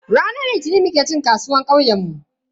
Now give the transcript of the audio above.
Ranar Litinin muke cin kasuwar kauyenmu.